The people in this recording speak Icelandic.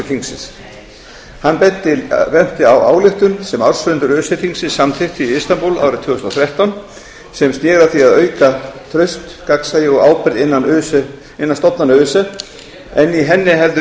þingsins hann benti á ályktun sem ársfundur öse þingsins samþykkti í istanbúl árið tvö þúsund og þrettán sem sneri að því að auka traust gagnsæi og ábyrgð innan stofnana öse en í henni hefði